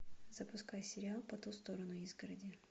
запускай сериал по ту сторону изгороди